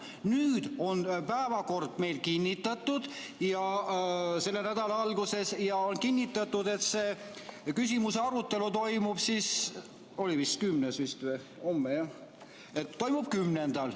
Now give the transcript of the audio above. Nüüd on päevakord meil kinnitatud selle nädala alguses ja on kinnitatud, et see küsimuse arutelu toimub 10. juunil.